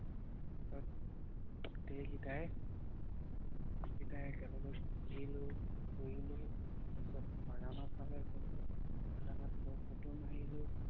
সব কেইটাই একেলগে ঘুৰিলো ফুৰিলো তাৰ পাছত বাগানৰ ফালে গলো বাগানত গৈ ফটো মাৰিলো।